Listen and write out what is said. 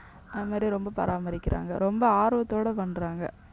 அது மாதிரி ரொம்ப பராமரிக்கிறாங்க ரொம்ப ஆர்வத்தோட பண்றாங்க